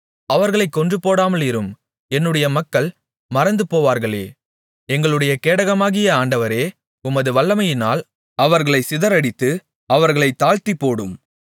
அவர்களைக் கொன்றுபோடாமலிரும் என்னுடைய மக்கள் மறந்துபோவார்களே எங்களுடைய கேடகமாகிய ஆண்டவரே உமது வல்லமையினால் அவர்களைச் சிதறடித்து அவர்களைத் தாழ்த்திப்போடும்